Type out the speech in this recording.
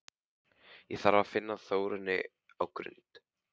Ég þarf að finna Þórunni á Grund!